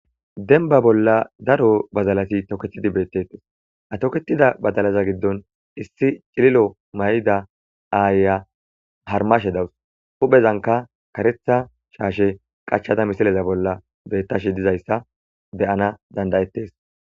Denba bolla daro bazalati toketidi beettettes atoketida badalaza giddon issi cililo may7ida aayya harmashe dawus huphezanka karetha shaashe qachchada misileza bolla bettashe dizayssa beyana dandayettes